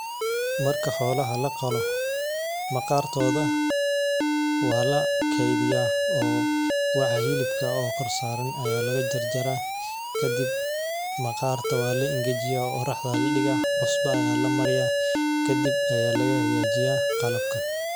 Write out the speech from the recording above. Marka xolaha laqolo maqartodha walakediyah oo waxa hilibka kor saran aya lagajarjara kadib maqarta wala ingejiyah qoraxda aya ladiga cusbo aya lamariyah, kadib aya lagahagajiya qalabka.